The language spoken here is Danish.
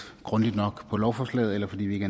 grundigt nok på lovforslaget eller fordi vi ikke